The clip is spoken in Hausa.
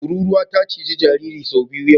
Tururuwa ta ciji jaririn sau biyu yau.